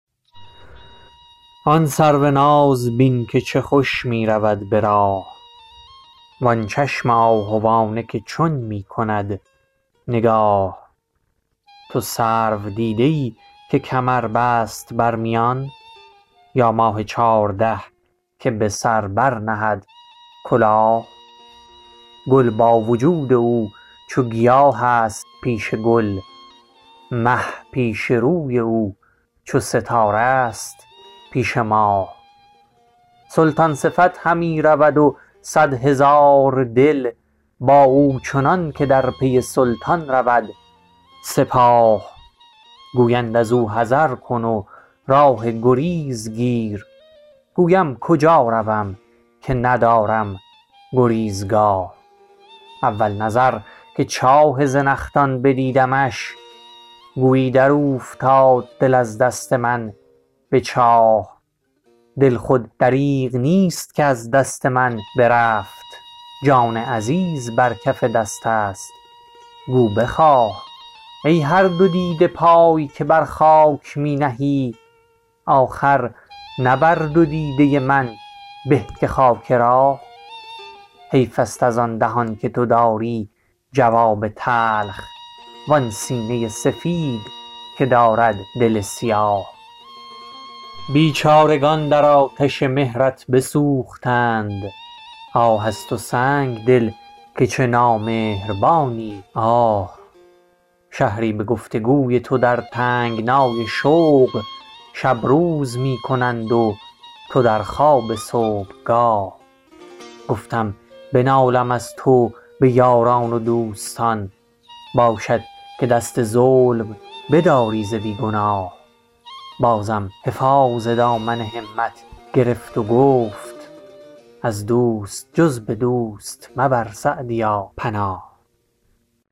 آن سرو ناز بین که چه خوش می رود به راه وآن چشم آهوانه که چون می کند نگاه تو سرو دیده ای که کمر بست بر میان یا ماه چارده که به سر برنهد کلاه گل با وجود او چو گیاه است پیش گل مه پیش روی او چو ستاره ست پیش ماه سلطان صفت همی رود و صد هزار دل با او چنان که در پی سلطان رود سپاه گویند از او حذر کن و راه گریز گیر گویم کجا روم که ندانم گریزگاه اول نظر که چاه زنخدان بدیدمش گویی در اوفتاد دل از دست من به چاه دل خود دریغ نیست که از دست من برفت جان عزیز بر کف دست است گو بخواه ای هر دو دیده پای که بر خاک می نهی آخر نه بر دو دیده من به که خاک راه حیف است از آن دهن که تو داری جواب تلخ وآن سینه سفید که دارد دل سیاه بیچارگان بر آتش مهرت بسوختند آه از تو سنگدل که چه نامهربانی آه شهری به گفت و گوی تو در تنگنای شوق شب روز می کنند و تو در خواب صبحگاه گفتم بنالم از تو به یاران و دوستان باشد که دست ظلم بداری ز بی گناه بازم حفاظ دامن همت گرفت و گفت از دوست جز به دوست مبر سعدیا پناه